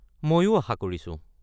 মইও আশা কৰিছোঁ৷